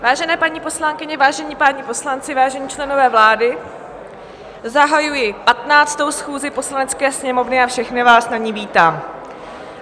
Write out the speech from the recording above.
Vážené paní poslankyně, vážení páni poslanci, vážení členové vlády, zahajuji 15. schůzi Poslanecké sněmovny a všechny vás na ní vítám.